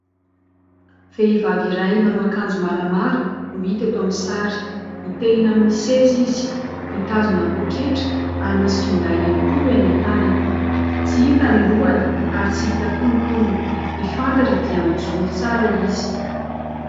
Vehivavy iray manao akanjo maramara no hita eto aminy sary. Mitehina aminy seza izy, mitazona poketra ary misy finday ihany koa eny an-tanany. Tsy hita ny lohany ary tsy hita ihany koa ny tongony. Ny fantatra dia mijoro tsara izy